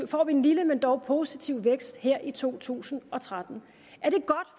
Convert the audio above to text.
får vi en lille men dog positiv vækst her i to tusind og tretten